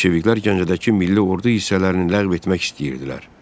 Bolşeviklər Gəncədəki milli ordu hissələrini ləğv etmək istəyirdilər.